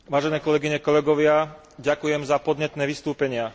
Vážené kolegyne, kolegovia, ďakujem za podnetné vystúpenia.